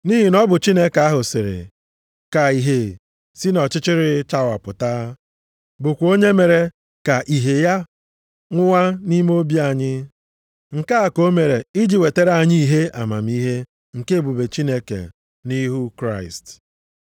Nʼihi na ọ bụ Chineke ahụ sịrị, ka ìhè si nʼọchịchịrị chawapụta; + 4:6 \+xt Jen 1:3\+xt* bụkwa onye mere ka ìhè ya nwuwa nʼime obi anyị. Nke a ka o mere iji wetara anyị ìhè amamihe nke ebube Chineke nʼihu Kraịst.